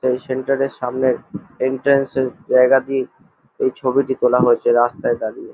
এই সেন্টার এর সামনে এন্ট্রান্স এর জায়গা দিয়ে এই ছবিটি তোলা হয়েছে রাস্তায় দাঁড়িয়ে।